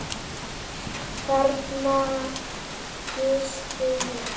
Þarna gisti ég.